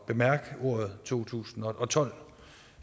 bemærke ordet to tusind og tolv